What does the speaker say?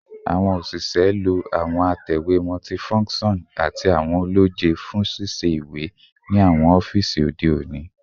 Awọn oṣiṣẹ lo awọn atẹwe multifunction ati awọn ọlọjẹ fun sisẹ iwe ni awọn ọfiisi ode oni